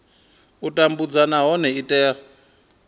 u tambudzwa nahone i tea